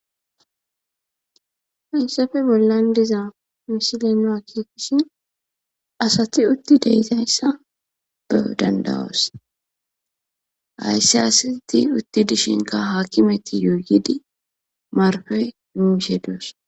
Hayssefe bollan diza mishile naa kiikishin asati utti deyizayssa beo dandawoos hayssi asati utti dishinka haakimeti yoyidi marfey imishe doos.